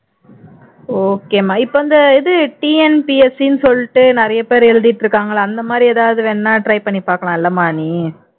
okay மா இப்போ அந்த இது TNPSC ன்னு சொல்லிட்டு நிறைய பேர் எழுதிட்டு இருக்காங்க இல்ல அந்த மாதிரி எதாவது வேணும்னா try பண்ணிப்பார்க்கலாம் இல்லைமா நீ